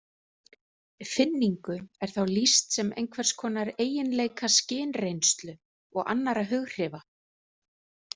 Finningu er þá lýst sem einhvers konar eiginleika skynreynslu og annarra hughrifa.